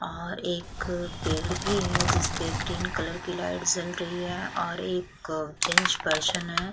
और एक पेड़ भी है जिस पे ग्रीन कलर की लाइट जल रही है और एक जेंट्स पर्सन है।